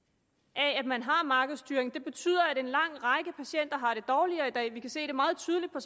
af at man har markedsstyring det betyder at en lang række patienter har det dårligere i dag vi kan se det meget tydeligt på